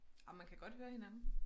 Ah man kan godt høre hinanden